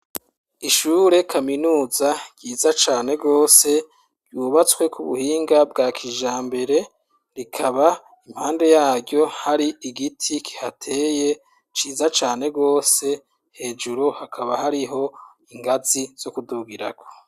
Ishure kaminuza ryiza cane rwose, yubatswe kubuhinga bwa kija mbere rikaba impande yaryo hari igiti kihateye ciza cane rwose hejuru hakaba hariho ingazi zo kudugirako.